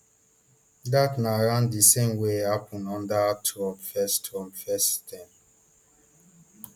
dat na around di same wey happun under trump first trump first term